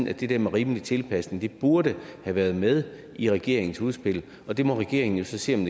at det der med rimelig tilpasning burde have været med i regeringens udspil og det må regeringen jo så se om